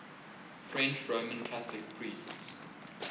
french roman catholic priests